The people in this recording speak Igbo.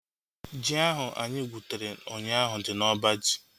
Ji ahu anyị gwutere ụnyaahụ dị n'oba ji